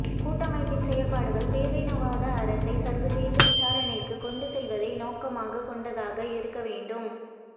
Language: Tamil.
கூட்டமைப்பின் செயற்பாடுகள் பேரினவாத அரசை சர்வதேச விசாரணைக்கு கொண்டு செல்வதை நோக்கமாக கொண்டதாக இருக்க வேண்டும்